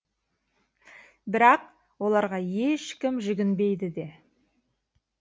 бірақ оларға ешкім жүгінбейді де